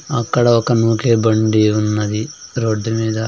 అక్కడ ఒక నూకే బండి యున్నది రోడ్డు మీద.